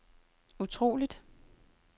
utroligt